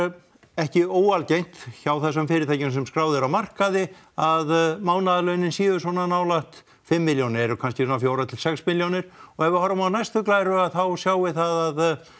ekki óalgengt hjá þessum fyrirtækjum sem skráð eru á markaði að mánaðarlaunin séu svona nálægt fimm milljónum eru kannski svona fjögurra til sex milljónir og ef við horfum á næstu glæru þá sjáum við það að